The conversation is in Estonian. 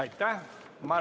Aitäh!